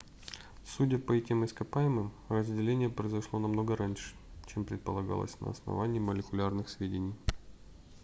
судя по этим ископаемым разделение произошло намного раньше чем предполагалось на основании молекулярных сведений